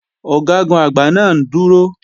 Ọ̀gágun-Àgbá náà ń dúró